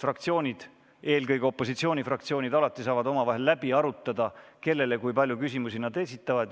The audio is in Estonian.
Fraktsioonid, eelkõige opositsioonifraktsioonid, saavad ju omavahel läbi arutada, kellele ja kui palju küsimusi nad esitavad.